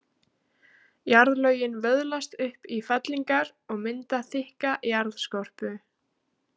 Jarðlögin vöðlast upp í fellingar og mynda þykka jarðskorpu.